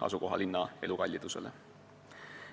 asukohalinna elukalliduse järgi.